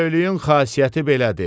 Bəyliyin xasiyyəti belədir.